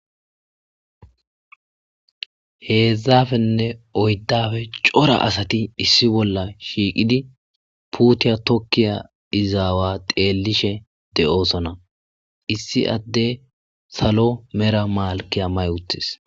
Hezdzdapenne oyddappe cora asati shiiqidi puuta tokiya iza awa xeelishe de'osona,issi adeyi salo mela melikiya mayi utisi.